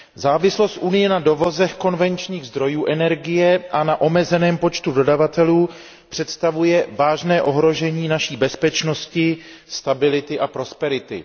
Závislost Unie na dovozech konvenčních zdrojů energie a na omezeném počtu dodavatelů představuje vážné ohrožení naší bezpečnosti, stability a prosperity.